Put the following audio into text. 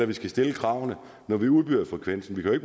vi skal stille kravene når vi udbyder frekvensen vi kan jo